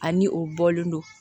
Ani o bɔlen don